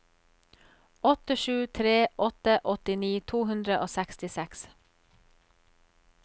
åtte sju tre åtte åttini to hundre og sekstiseks